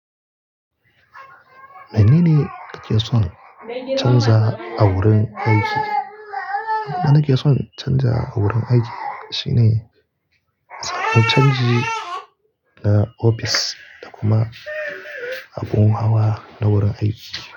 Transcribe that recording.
Me nene kake son canza a wurin aiki? Abunda nake son canza a wurin aiki shine tsarin canji na ofis da kuma abun hawa na wurin aiki.